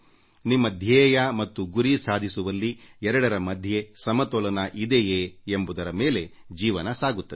ನಿಮ್ಮ ಧ್ಯೇಯ ಮತ್ತು ಗುರಿ ಸಾಧಿಸುವಲ್ಲಿ ಎರಡರ ಮಧ್ಯೆ ಸಮತೋಲನ ಇದೆಯೇ ಎಂಬುದರ ಮೇಲೆ ಜೀವನ ಸಾಗುತ್ತದೆ